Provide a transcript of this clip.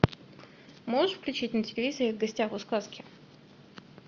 можешь включить на телевизоре в гостях у сказки